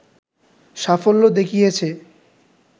সাফল্য দেখিয়েছে